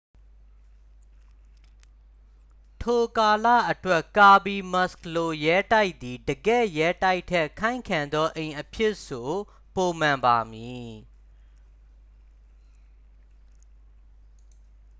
ထိုကာလအတွက် ကာဘီမက်ခ်လို ရဲတိုက်သည် တကယ့် ရဲတိုက်ထက် ခိုင်ခံ့သောအိမ်အဖြစ် ဆို ပိုမှန်ပါမည်